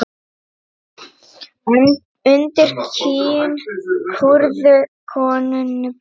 Undir kinn kúrðu konunni blíðu.